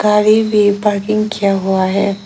गाड़ी भी पार्किंग किया हुआ है।